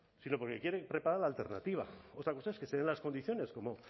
sino porque quieren preparar la alternativa otra cosa es que se den las condiciones como